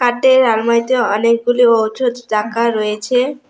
কাঠের আলমারিতে অনেকগুলো ঔষধ রাকা রয়েছে।